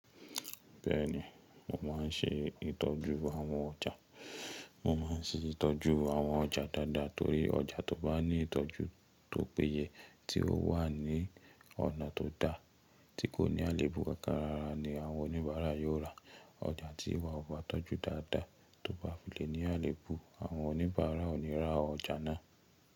Bẹ́ẹ̀ni, mo ma n ṣe ìtọ́jú àwọn ọjà. Mo ma n ṣe ìtọ́jú àwọn ọjà dáadáa torí ọjà tó bá ní ìtọ́jú tó péye tí ó wà ní ọ̀nà tó dá, tí kò ní àléébù kákará ni àwọn oníbàárà yóò ra. Ọjà tí ìwà ọba tọ́jú dáadáa tó bá filé ní àléébù àwọn oníbàárà ò ní ra ọjà náà.